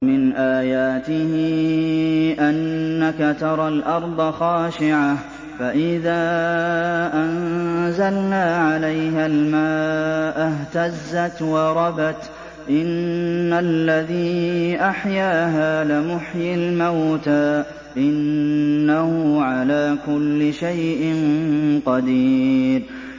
وَمِنْ آيَاتِهِ أَنَّكَ تَرَى الْأَرْضَ خَاشِعَةً فَإِذَا أَنزَلْنَا عَلَيْهَا الْمَاءَ اهْتَزَّتْ وَرَبَتْ ۚ إِنَّ الَّذِي أَحْيَاهَا لَمُحْيِي الْمَوْتَىٰ ۚ إِنَّهُ عَلَىٰ كُلِّ شَيْءٍ قَدِيرٌ